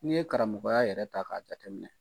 N'i ye karamɔgɔya yɛrɛ ta k'a jateminɛ